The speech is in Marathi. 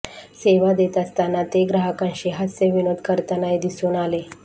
सेवा देत असताना ते ग्राहकांशी हास्यविनोद करतानाही दिसून आले